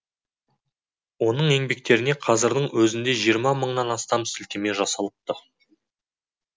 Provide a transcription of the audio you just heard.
оның еңбектеріне қазірдің өзінде жиырма мыңнан астам сілтеме жасалыпты